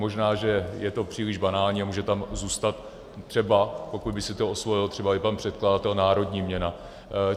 Možná že je to příliš banální a může tam zůstat třeba, pokud by si to osvojil třeba i pan předkladatel, národní měna.